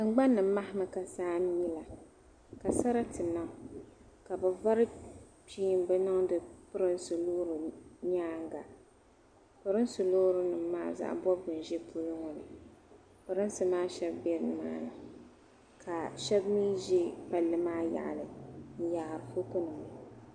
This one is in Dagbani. Tingban ni mahi mi ka saa n mi la ka sarati niŋ ka bi vari kpiinba niŋdi pirinsi loori nyaanga pirinsi loori nim maa zaɣa bɔbgu n ʒi tooni ŋɔ pirinsi maa shɛba bɛ ni maa ni ka shɛba mi ʒɛ palli maa yaɣali n yaari foto nima.